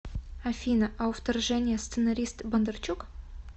афина а у вторжения сценарист бондарчук